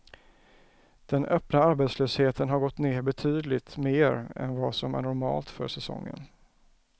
Den öppna arbetslösheten har gått ner betydligt mer än vad som är normalt för säsongen.